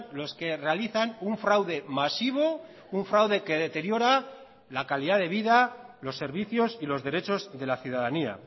los que realizan un fraude masivo un fraude que deteriora la calidad de vida los servicios y los derechos de la ciudadanía